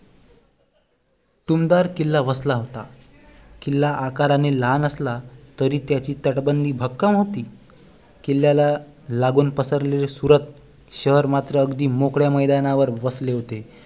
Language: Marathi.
टुमदार किल्ला वसला होता किल्ला आकाराने लहान असला तरी त्याची तटबंदी भक्कम होती किल्ल्याला लागून पसरलेले सूरत शहर मात्र अगदी मोकळ्या मैदानावर वसले होते